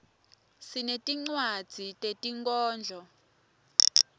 sinetinwadzi tetinkhondlo